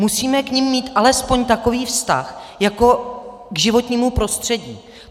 Musíme k nim mít alespoň takový vztah jako k životnímu prostředí.